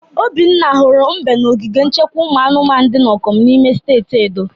Obinna hụrụ mbe na ogige nchekwa ụmụ anụmanụ dị na Okomu n'ime steeti Edo.